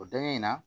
O dankɛ in na